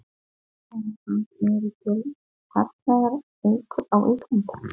Þannig að það eru til fallegar eikur á Íslandi?